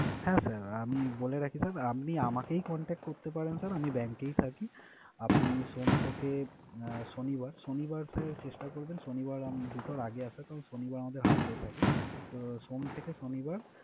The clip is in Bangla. হ্যাঁ sir আমি বলে রাখি sir আপনি আমাকেই contact করতে পারেন sir আমি bank এই থাকি। আপনি সোম থেকে শনিবার, শনিবার sir চেষ্টা করবেন, শনিবার আম~ দুটোর আগে আসার। কারণ শনিবার আমাদের half day থাকে। তো সোম থেকে শনিবার